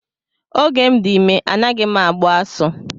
Oge m dị ime anaghị agbu asụ.